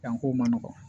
Yan kow man nɔgɔn